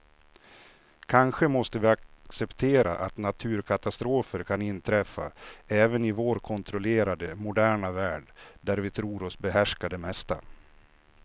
Kanske måste vi acceptera att naturkatastrofer kan inträffa även i vår kontrollerade, moderna värld där vi tror oss behärska det mesta.